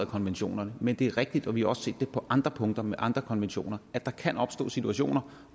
konventionerne men det er rigtigt vi har også set det på andre punkter med andre konventioner at der kan opstå situationer